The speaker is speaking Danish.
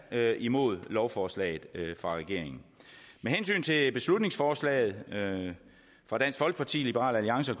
er imod lovforslaget fra regeringen med hensyn til beslutningsforslaget fra dansk folkeparti liberal alliance